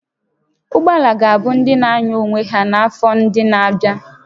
Ụgbọ ala ga-abụ ndị na-anya onwe ha n'afọ ndị na-abịa